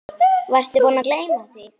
Varstu búinn að gleyma því?